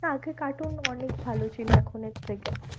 না আগে cartoon অনেক ভালো ছিল এখনের থেকে।